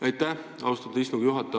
Aitäh, austatud istungi juhataja!